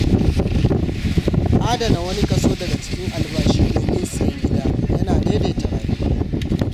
Adana wani kaso daga cikin albashi domin siyan gida ya na daidaita rayuwa.